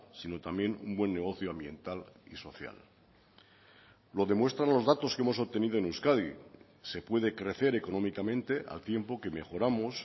sino también un buen negocio ambiental y social lo demuestran los datos que hemos obtenido en euskadi se puede crecer económicamente al tiempo que mejoramos